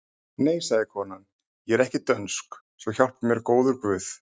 Nei, sagði konan,-ég er ekki dönsk svo hjálpi mér góður Guð!